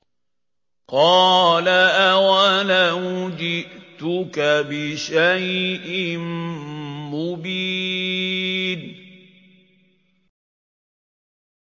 قَالَ أَوَلَوْ جِئْتُكَ بِشَيْءٍ مُّبِينٍ